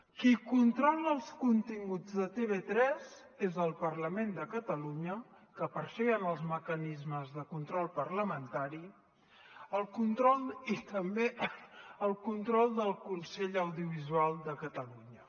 qui controla els continguts de tv3 és el parlament de catalunya que per això hi han els mecanismes de control parlamentari i hi ha també el control del consell audiovisual de catalunya